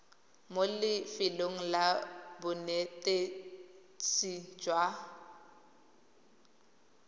mo lefelong la bonetetshi jwa